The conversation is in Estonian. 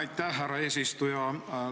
Aitäh, härra eesistuja!